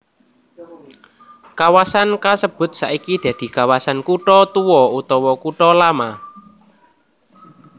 Kawasan kasebut saiki dadi kawasan kutha tuwa utawa kutha lama